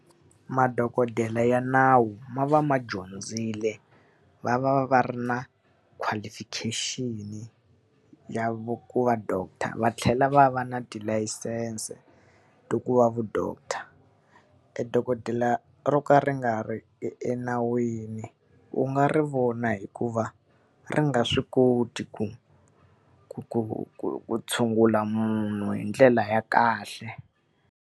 Madokodela ya nawu ma va ma dyondzile, va va va va ri na qualification-i ya ku va doctor, va tlhela va va na tilayisense ta ku va ma-doctor. Dokodela ro ka ri nga ri enawini u nga ri vona hi ku va ri nga swi koti ku ku ku ku ku tshungula munhu hi ndlela ya kahle.